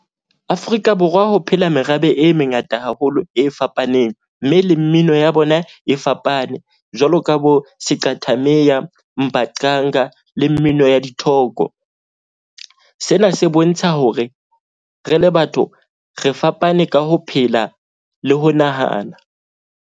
Afrika Borwa ho phela merabe e mengata haholo e fapaneng. Mme le mmino ya bona e fapane. Jwalo ka bo siqathamiya, mbaqanga le mmino ya dithoko. Sena se bontsha hore re le batho re fapane ka ho phela le ho nahana.